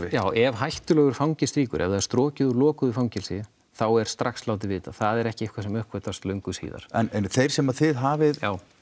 ef hættulegur fangi strýkur ef það er strokið úr lokuðu fangelsi þá er strax látið vita það er ekki eitthvað sem uppgötvast löngu síðar en þeir sem þið hafið